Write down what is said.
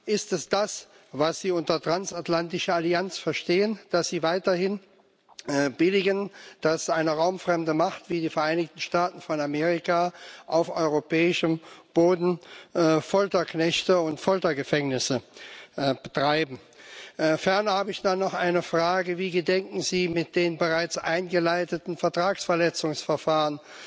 Ist es das, was Sie unter transatlantischer Allianz verstehen, dass Sie weiterhin billigen, dass eine raumfremde Macht wie die Vereinigten Staaten von Amerika auf europäischem Boden Folterknechte und Foltergefängnisse betreibt? Ferner habe ich da noch eine Frage Wie gedenken Sie, mit den bereits eingeleiteten Vertragsverletzungsverfahren